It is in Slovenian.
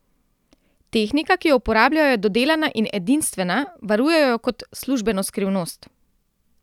Tehnika, ki jo uporabljajo, je dodelana in edinstvena, varujejo jo kot službeno skrivnost.